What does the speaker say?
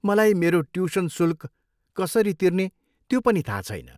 मलाई मेरो ट्युसन शुल्क कसरी तिर्ने त्यो पनि थाहा छैन।